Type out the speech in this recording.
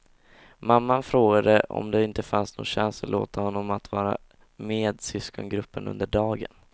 Mamman frågade om det inte fanns någon chans att låta honom vara med syskongruppen under dagen.